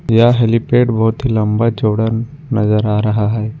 यह हेलीपैड बहोत ही लंबा चौड़ा नजर आ रहा है।